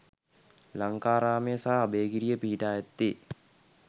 ලංකාරාමය සහ අභයගිරිය පිහිටා ඇත්තේ